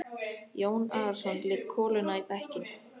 Jón Arason lét koluna í bekkinn.